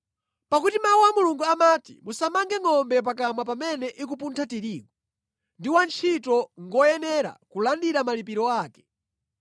Pakuti Mawu a Mulungu amati, “Musamange ngʼombe pakamwa pamene ikupuntha tirigu,” ndi “Wantchito ngoyenera kulandira malipiro ake.”